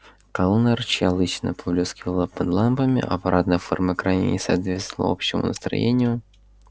кэллнер чья лысина поблескивала под лампами а парадная форма крайне не соответствовала общему настроению